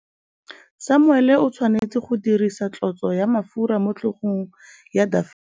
Samuele o tshwanetse go dirisa tlotsô ya mafura motlhôgong ya Dafita.